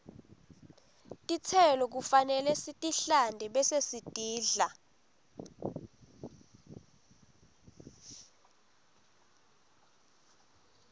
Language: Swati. tistelo kufanele sitihlante bese sitidla